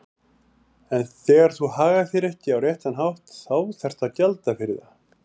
Þegar þú hagar þér ekki á réttan hátt þá þarftu að gjalda fyrir það.